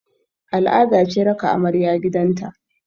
Al'ada ce raka amarya gidan ta